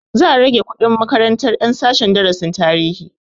Za a rage kuɗin makarantar ƴan sashen darasin tarihi